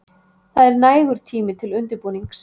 Það er nægur tími til undirbúnings.